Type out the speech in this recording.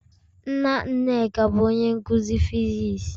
Nna Nneka bu onye nkuzi physics.